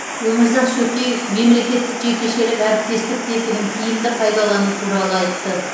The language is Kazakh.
өмірзақ шөкеев мемлекеттік жекешелік әріптестік тетігін тиімді пайдалану туралы айтты